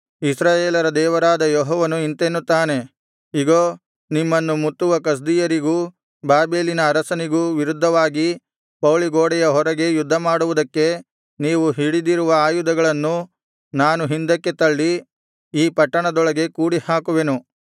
ಇಸ್ರಾಯೇಲರ ದೇವರಾದ ಯೆಹೋವನು ಇಂತೆನ್ನುತ್ತಾನೆ ಇಗೋ ನಿಮ್ಮನ್ನು ಮುತ್ತುವ ಕಸ್ದೀಯರಿಗೂ ಬಾಬೆಲಿನ ಅರಸನಿಗೂ ವಿರುದ್ಧವಾಗಿ ಪೌಳಿಗೋಡೆಯ ಹೊರಗೆ ಯುದ್ಧಮಾಡುವುದಕ್ಕೆ ನೀವು ಹಿಡಿದಿರುವ ಆಯುಧಗಳನ್ನು ನಾನು ಹಿಂದಕ್ಕೆ ತಳ್ಳಿ ಈ ಪಟ್ಟಣದೊಳಗೆ ಕೂಡಿಹಾಕುವೆನು